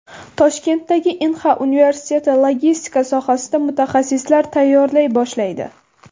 Toshkentdagi Inha universiteti logistika sohasida mutaxassislar tayyorlay boshlaydi.